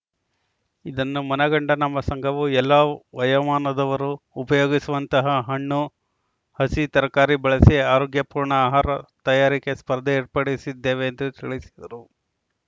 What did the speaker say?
ಇದನ್ನು ಮನಗಂಡ ನಮ್ಮ ಸಂಘವು ಎಲ್ಲ ವಯೋಮಾನವದವರು ಉಪಯೋಗಿಸುವಂತಹ ಹಣ್ಣು ಹಸಿ ತರಕಾರಿ ಬಳಸಿ ಆರೋಗ್ಯಪೂರ್ಣ ಆಹಾರ ತಯಾರಿಕೆ ಸ್ಪರ್ಧೆ ಏರ್ಪಡಿಸಿದ್ದೇವೆ ಎಂದು ತಿಳಿಸಿದರು